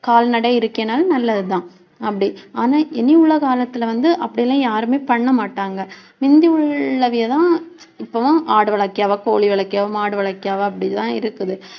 கால்நடை இருக்குன்னாலும் நல்லதுதான். அப்படி ஆனா இனி உள்ள காலத்தில வந்து அப்படியெல்லாம் யாருமே பண்ணமாட்டாங்க. முந்தி உள்ளவங்கதான் இப்ப தான் ஆடு வளர்க்கவா கோழி வளர்க்கவா மாடு வளர்க்கவா இப்படித்தான் இருக்குது